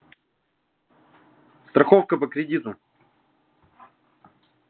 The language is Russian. страховка по кредиту